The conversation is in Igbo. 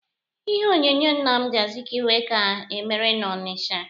Ihe onyonyo Nnamdi Azikiwe ka emere n'Ọnịcha.